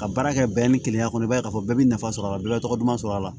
Ka baara kɛ bɛn ni keleya kɔnɔ i b'a ye k'a fɔ bɛɛ bɛ nafa sɔrɔ a la bɛɛ bɛ tɔgɔ duman sɔrɔ a la